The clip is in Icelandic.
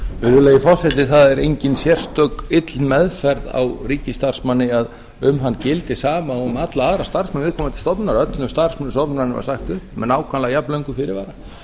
virðulegi forseti það er engin sérstök ill meðferð á ríkisstarfsmanni að um hann gildi sama og um alla aðra starfsmenn viðkomandi stofnunar öllum starfsmönnum stofnunarinnar var sagt upp með nákvæmlega jafnlöngum fyrirvara